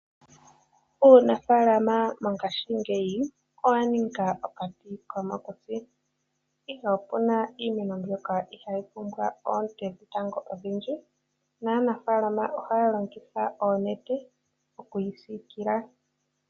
Uunafaalama mongashingeyi owa ninga okati komokuti ,ihe opuna iimeno mbyoka ihayi pumbwa oonte dhetango odhindji naanafaalama ohaya longitha oonete okuyi siikila .